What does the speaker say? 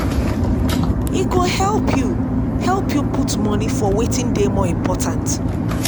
e go help yu help yu put moni for wetin dey more important